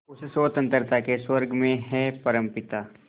उस स्वतंत्रता के स्वर्ग में हे परमपिता